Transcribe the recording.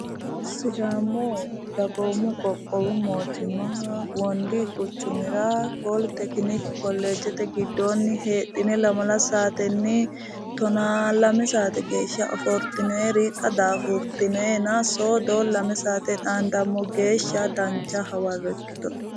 Sidaamu dagoomu qoqqowu mootimmaha wondi quchumira poli tekiniki kolleejjete giddoonni heedhine lamala saatenni tonaa lame saate geeshsha ofoltinoyiri xa daafurtinoyina soodo lame saateyi xaandammo geeshsha dancha hawarro ikkito'ne.